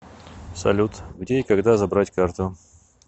салют где и когда забрать карту